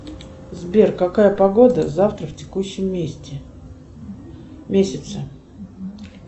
сбер какая погода завтра в текущем месте месяце